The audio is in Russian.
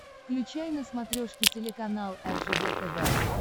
включай на смотрешке телеканал ржд тв